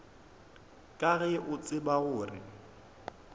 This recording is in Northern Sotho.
ka ge o tseba gore